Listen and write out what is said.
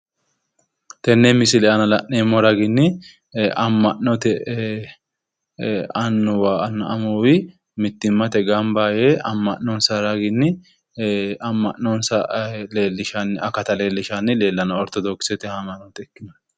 Tenne misile aana la'neemmo raginni amma'note annuwa ammuwa mittimmate gamab yee amma'nosa raginni amma'nonsa leellishanni akata lellishanni leellanno oritodokisete haamannote.